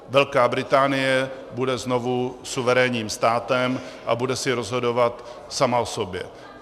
Velká Británie bude znovu suverénním státem a bude si rozhodovat sama o sobě.